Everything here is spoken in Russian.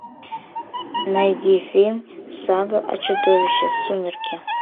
найди фильм сага о чудовище сумерки